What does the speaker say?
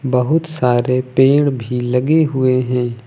बहुत सारे पेड़ भी लगे हुए हैं।